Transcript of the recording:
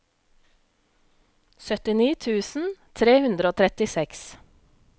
syttini tusen tre hundre og trettiseks